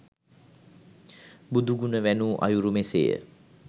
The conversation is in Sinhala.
බුදුගුණ වැණූ අයුරු මෙසේ ය.